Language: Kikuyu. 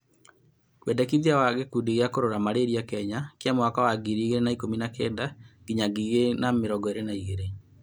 Wendekithia wa gĩkundi gĩa kũrora malaria kenya kĩa mwaka wa 2019 nginya 2023